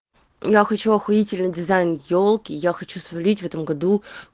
я хочу ахуительный дизайн ёлки я хочу сварить в этом году